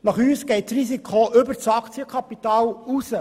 Unseres Erachtens geht das Risiko über das Kapital hinaus.